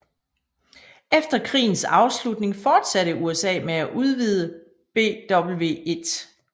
Efter krigens afslutning fortsatte USA med at udvide BW1